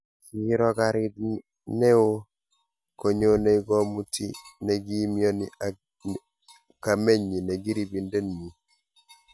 Kiiro garit neo konyonei komuti nekiimioni ak kamenyi nekiribindenyi